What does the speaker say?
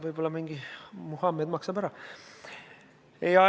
Võib-olla mingi Muhamed maksab.